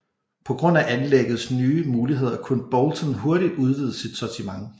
På grund af anlæggets nye muligheder kunne Boulton hurtigt udvide sit sortiment